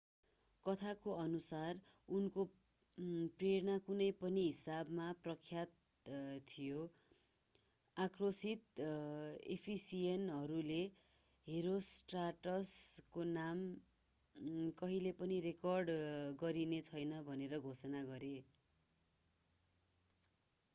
कथाको अनुसार उनको प्रेरणा कुनै पनि हिसाबमा प्रख्यात थियो आक्रोशित एफिसियनहरूले हेरोस्ट्राटसको नाम कहिल्यै पनि रेकर्ड गरिने छैन भनेर घोषणा गरे